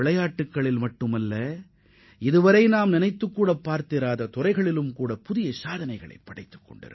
விளையாட்டுத் துறை மட்டுமின்றி எண்ணற்றத் துறைகளில் இந்தியா புதிய சாதனைகளைப் படைத்து வருகிறது